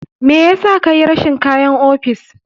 Me yasa kayi rashin kayan ofis?